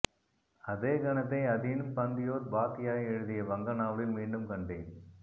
அதே கணத்தை அதீன் பந்த்யோபாத்யாய எழுதிய வங்க நாவலில் மீண்டும் கண்டேன்